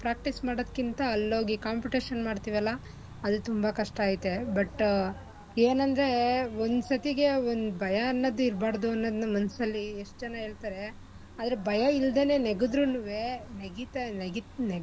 Practice ಮಾಡೋದ್ಕಿಂತ ಅಲ್ಲೋಗಿ competition ಮಾಡ್ತಿವಲ್ಲ ಅಲ್ ತುಂಬಾ ಕಷ್ಟ ಐತೆ but ಏನಂದ್ರೆ ಒಂದ್ ಸತಿಗೆ ಒಂದ್ ಭಯ ಅನ್ನೋದು ಇರ್ಬಾರ್ದು ಅನ್ನೋದ್ನ ಮನ್ಸಲ್ಲಿ ಎಷ್ಟ ಜನ ಹೇಳ್ತಾರೇ ಆದ್ರೆ ಭಯ ಇಲ್ದೇನೆ ನೆಗೆದ್ರುನುವೆ ನೆಗೀತಾ